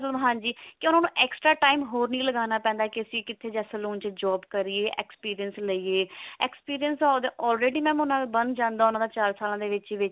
ਮਤਲਬ ਹਾਂਜੀ ਕਿਉਂ ਉਹਨਾਂ ਨੂੰ extra time ਹੋਰ ਨੀ ਲਗਾਉਣਾ ਪੈਂਦਾ ਅਸੀਂ ਕਿੱਥੇ ਜਾਂ salon ਚ job ਕਰੀਏ experience ਲਈਏ experience ਤਾਂ already mam ਉਹਨਾਂ ਦਾ ਬਣ ਜਾਂਦਾ ਉਹਨਾਂ ਦਾ ਚਾਰ ਸਾਲਾਂ ਦੇ ਵਿੱਚ